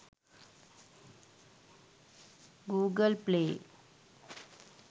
google play